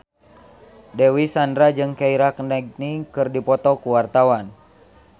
Dewi Sandra jeung Keira Knightley keur dipoto ku wartawan